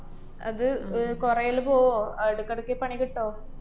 അത് അഹ് കൊറയല് പോവോ അതെടക്കെടയ്ക്ക് പണി കിട്ടോ?